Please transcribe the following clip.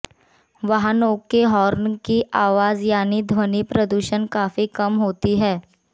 वाहनों के हॉर्न की आवाज यानी ध्वनि प्रदूषण काफी कम होती है